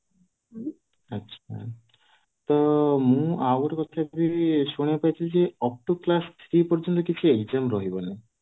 ହୁଁ ତ ମୁଁ ଆଉ ଗୋଟେ କଥା ବି ଶୁଣିବାକୁ ପାଇଥିଲି ଯେ up to class three exam ରହିବନି